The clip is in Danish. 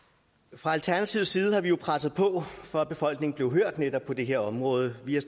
fra alternativets side har vi jo presset på for at befolkningen blev hørt netop på det her område vi har